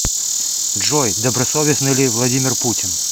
джой добросовестный ли владимир путин